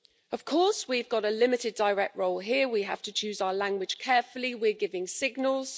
Of course, we have a limited direct role here, we have to choose our language carefully, we're giving signals.